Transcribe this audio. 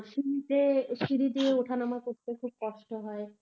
সিড়িতে সিড়ি দিয়ে ওঠানামা করতে খুব কষ্ট হয়.